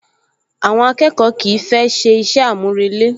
Àwọn akẹ́kọ̀ọ́ kìí fẹ́ ṣe iṣẹ́ àmúrelé